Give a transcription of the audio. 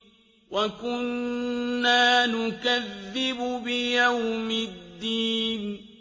وَكُنَّا نُكَذِّبُ بِيَوْمِ الدِّينِ